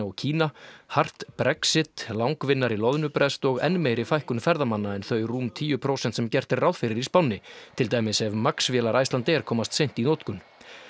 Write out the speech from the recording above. og Kína hart Brexit langvinnari loðnubrest og enn meiri fækkun ferðamanna en þau rúm tíu prósent sem gert er ráð fyrir í spánni til dæmis ef Max vélar Icelandair komast seint í notkun